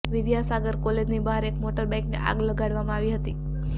વિદ્યાસાગર કોલેજની બહાર એક મોટરબાઈકને આગ લગાડવામાં આવી હતી